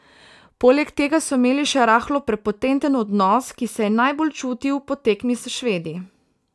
Poleg tega so imeli še rahlo prepotenten odnos, ki se je najbolj čutil po tekmi s Švedi.